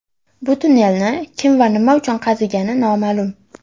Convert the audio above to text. Bu tunnelni kim va nima uchun qazigani noma’lum.